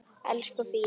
Elsku Fía.